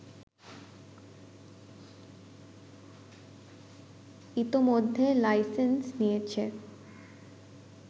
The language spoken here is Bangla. ইতোমধ্যে লাইসেন্স নিয়েছে